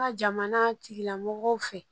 Ka jamana tigilamɔgɔw fɛ